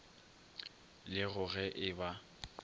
le go ge e ba